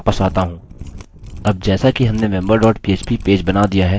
अब जैसा कि हमने member dot php बनाया दिया है एंटर प्रेस करें